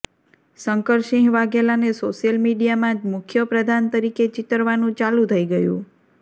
શંકરસિંહ વાઘેલાને સોશિયલ મીડિયામાં મુખ્ય પ્રધાન તરીકે ચીતરવાનું ચાલુ થઇ ગયું